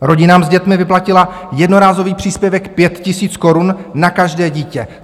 Rodinám s dětmi vyplatila jednorázový příspěvek 5 000 korun na každé dítě.